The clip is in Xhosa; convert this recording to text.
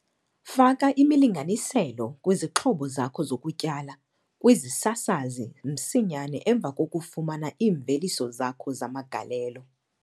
Faka imilinganiselo kwizixhobo zakho zokutyala - kwizisasazi msinyane emva kokufumana iimveliso zakho zamagalelo